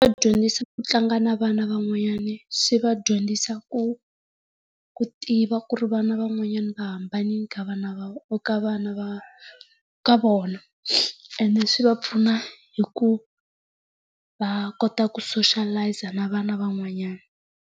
ku tlanga na vana van'wanyana swi va dyondzisi ku ku tiva ku ri vana van'wanyana va hambanile ka vana va ka vana va ka vona. Ene swi va pfuna hi ku va kota ku soshalayiza na vana van'wanyana.